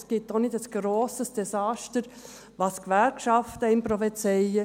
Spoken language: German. Es gibt auch kein grosses Desaster, wie einem die Gewerkschaften prophezeien.